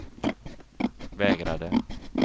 vägrade